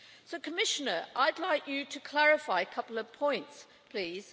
So Commissioner, I'd like you to clarify a couple of points, please.